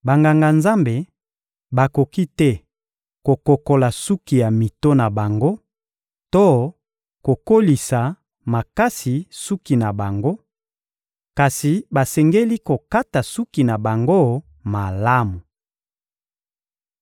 Banganga-Nzambe bakoki te kokokola suki ya mito na bango to kokolisa makasi suki na bango; kasi basengeli kokata suki na bango malamu.